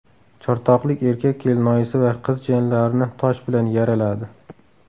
Chortoqlik erkak kelinoyisi va qiz jiyanlarini tosh bilan yaraladi.